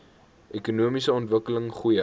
ekonomiese ontwikkeling goeie